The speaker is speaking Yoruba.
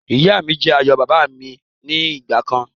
Ìyá mi jẹ́ ààyò bàbà mi ni ìgbàkan